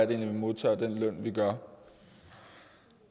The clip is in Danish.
vi modtager den løn vi gør